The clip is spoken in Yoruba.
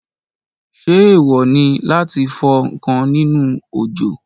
Ṣé èèwò láti fọ ǹkan nínú òjò?